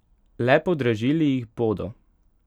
Le podražili jih bodo.